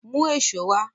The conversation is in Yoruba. Mú èṣó wá!